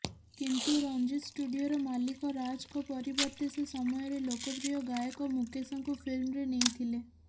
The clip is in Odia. କିନ୍ତୁ ରଞ୍ଜିତ୍ ଷ୍ଟୁଡିଓର ମାଲିକ ରାଜଙ୍କ ପରିବର୍ତ୍ତେ ସେ ସମୟରେ ଲୋକପ୍ରିୟ ଗାୟକ ମୁକେଶଙ୍କୁ ଫିଲ୍ମରେ ନେଇଥିଲେ